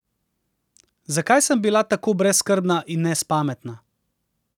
Zakaj sem bila tako brezskrbna in nespametna?